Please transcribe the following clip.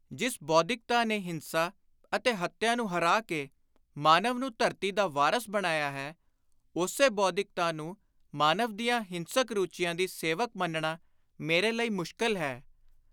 ਜਿਸ ਬੋਧਿਕਤਾ ਨੇ ਹਿੰਸਾ ਅਤੇ ਹੱਤਿਆ ਨੂੰ ਹਰਾ ਕੇ ਮਾਨਵ ਨੂੰ ਧਰਤੀ ਦਾ ਵਾਰਸ ਬਣਾਇਆ ਹੈ, ਉਸੇ ਬੌਧਿਕਤਾ ਨੂੰ ਮਾਨਵ ਦੀਆਂ ਹਿੰਸਕ ਰੁਚੀਆਂ ਦੀ ਸੇਵਕ ਮੰਨਣਾ ਮੇਰੇ ਲਈ ਮੁਸ਼ਕਿਲ ਹੈ।